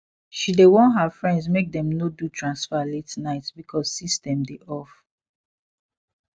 she dey warn her friends make dem no do transfer late night because system dey off